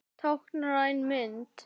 Táknræn mynd.